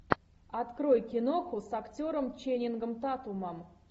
открой киноху с актером ченнингом татумом